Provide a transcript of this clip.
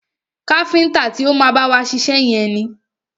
Káfíntà ti o má bá wa ṣiṣẹ́ yẹn ni.